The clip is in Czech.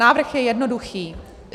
Návrh je jednoduchý.